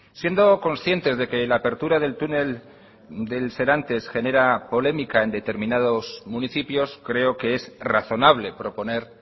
siendo conscientes de que la apertura del túnel del serantes genera polémica en determinados municipios creo que es razonable proponer